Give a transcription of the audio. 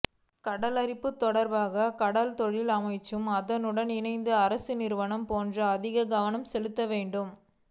கடலரிப்புத் தொடர்பாகக் கடற்றொழில் அமைச்சும் அதனுடன் இணைந்த அரச நிறுவனங்கள் போன்றன அதிக கவனம் செலுத்த வேண்டும்